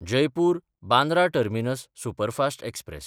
Jaipur-Bandra terminus superfast express